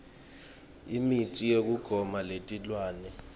imitsi yekugoma yetilwane